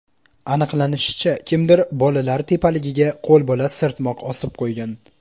Aniqlanishicha, kimdir bolalar tepaligiga qo‘lbola sirtmoq osib qo‘ygan.